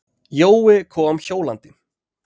Jói kom hjólandi.